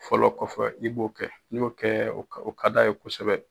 Fɔlɔ kɔfɛ i b'o kɛ, n'i y'o kɛ, o ka o ka d'a ye kosɛbɛ.